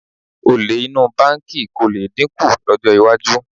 Olè inú báǹkì kò lè dínkù lọ́jọ́ iwájú